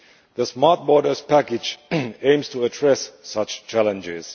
The Smart Borders Package aims to address such challenges.